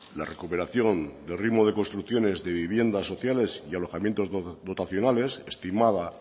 la recuperación de ritmo de construcciones de viviendas sociales y alojamientos dotacionales estimada